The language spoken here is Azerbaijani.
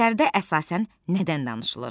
Əsərdə əsasən nədən danışılır?